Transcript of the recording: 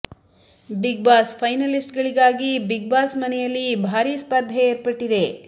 big Boss finalist ಗಳಿಗಾಗಿ Bigg Boss ಮನೆಯಲ್ಲಿ ಬಾರೀ ಸ್ಪರ್ಧೆ ಏರ್ಪಟ್ಟಿದೆ